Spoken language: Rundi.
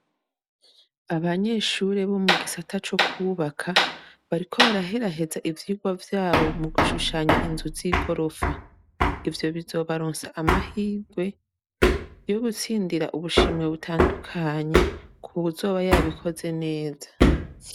Abanyeshure bo mu gisata co kwubaka bariko baraheraheza ivyigwa vyabo mu gushushanya inzu z'igorofa. Ivyo bizobaronsa amahirwe yo gutsindira ubushimwe butandukanye ku wuzoba yabikoze neza.